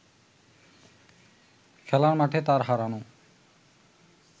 খেলার মাঠে তার হারানো